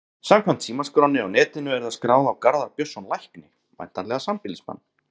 Samkvæmt símaskránni á netinu er það skráð á Garðar Björnsson lækni, væntanlega sambýlismann